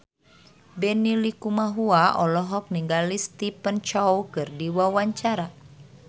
Benny Likumahua olohok ningali Stephen Chow keur diwawancara